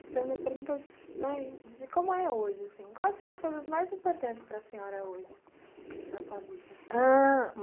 Fazendo umas perguntas, né, de como é hoje, assim, quais são as coisas mais importantes para senhora hoje na sua vida? ãh...